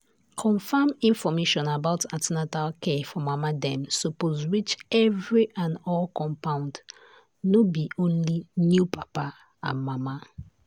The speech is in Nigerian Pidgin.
confam information about an ten atal care for mama dem suppose reach every all the compound no be only new papa and mama.